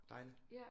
Dejligt